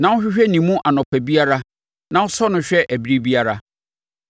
na wohwehwɛ ne mu anɔpa biara na wosɔ no hwɛ ɛberɛ biara?